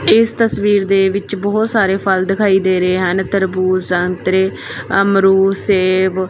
ਇਸ ਤਸਵੀਰ ਦੇ ਵਿੱਚ ਬਹੁਤ ਸਾਰੇ ਫਲ ਦਿਖਾਈ ਦੇ ਰਹੇ ਹਨ ਤਰਬੂਜ ਸੰਤਰੇ ਅਮਰੂਦ ਸੇਬ।